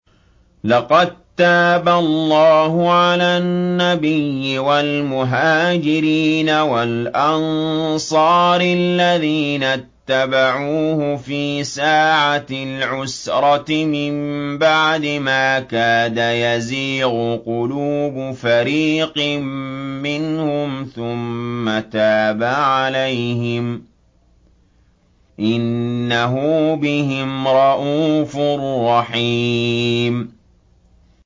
لَّقَد تَّابَ اللَّهُ عَلَى النَّبِيِّ وَالْمُهَاجِرِينَ وَالْأَنصَارِ الَّذِينَ اتَّبَعُوهُ فِي سَاعَةِ الْعُسْرَةِ مِن بَعْدِ مَا كَادَ يَزِيغُ قُلُوبُ فَرِيقٍ مِّنْهُمْ ثُمَّ تَابَ عَلَيْهِمْ ۚ إِنَّهُ بِهِمْ رَءُوفٌ رَّحِيمٌ